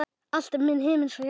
Allt milli himins og jarðar.